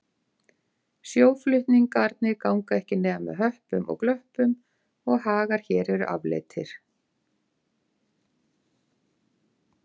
Sjóflutningarnir ganga ekki nema með höppum og glöppum og hagar hér eru afleitir.